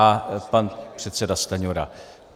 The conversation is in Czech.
A pan předseda Stanjura.